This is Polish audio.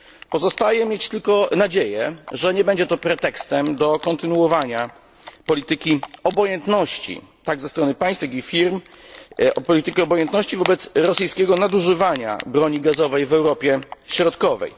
Pozostaje mieć tylko nadzieję, że nie będzie to pretekstem do kontynuowania polityki obojętności, tak ze strony państw, jak i firm, polityki obojętności wobec rosyjskiego nadużywania broni gazowej w Europie Środkowej.